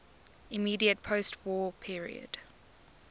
immediate postwar period